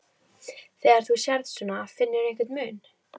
Þegar þú sérð svona, finnurðu einhvern mun?